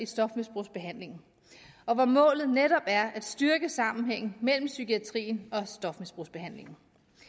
stofmisbrugsbehandlingen og hvor målet netop er at styrke sammenhængen mellem psykiatrien og stofmisbrugsbehandlingen